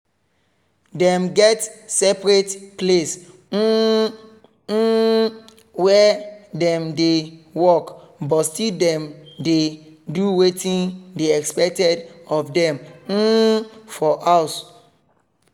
dem get separate place um um where dem dey work but still dem dey do wetin dey expected of dem um for house